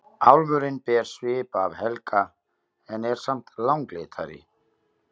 Álfurinn ber svip af Helga en er samt langleitari.